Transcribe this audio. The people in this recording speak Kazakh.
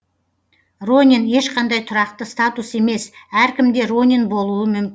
ронин ешқандай тұрақты статус емес әркім де ронин болуы мүм